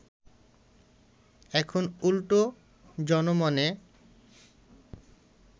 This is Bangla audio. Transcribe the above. এখন উল্টো জনমনে